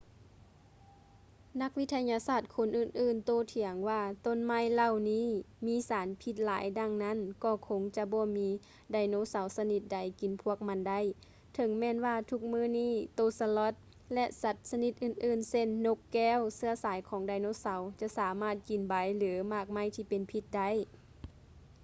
ນັກວິທະຍາສາດຄົນອື່ນໆໂຕ້ຖຽງວ່າຕົ້ນໄມ້ເຫຼົ່ານີ້ມີສານພິດຫຼາຍດັ່ງນັ້ນກໍຄົງຈະບໍ່ມີໄດໂນເສົາຊະນິດໃດກິນພວກມັນໄດ້ ເຖິງແມ່ນວ່າທຸກມື້ນີ້ໂຕສະລັອດ sloth ແລະ ສັດຊະນິດອື່ນໆເຊັ່ນ: ນົກແກ້ວ ເຊື້ອສາຍຂອງໄດໂນເສົາ ຈະສາມາດກິນໃບ ຫຼື ໝາກໄມ້ທີ່ເປັນພິດໄດ້